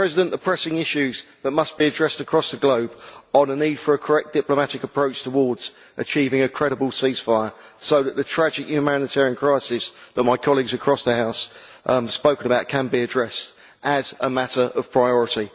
The pressing issue that must be addressed across the globe is the need for a correct diplomatic approach towards achieving a credible ceasefire so that the tragic humanitarian crisis that my colleagues across the House spoke about can be addressed as a matter of priority.